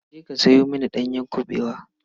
Je ka sayo mini ɗanyar kuɓewa.